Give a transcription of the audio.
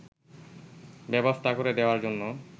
ব্যবস্থা করে দেওয়ার জন্য